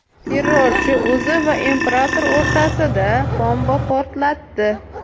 Terrorchi o‘zi va imperator o‘rtasida bomba portlatdi.